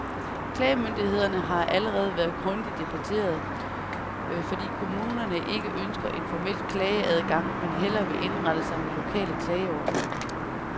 Klagemulighederne har allerede været grundigt debatteret, fordi kommunerne ikke ønsker en formel klageadgang, men hellere vil indrette sig med lokale klageordninger.